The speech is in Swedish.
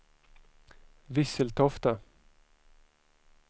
Visseltofta